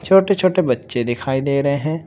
छोटे छोटे बच्चे दिखाई दे रहे हैं।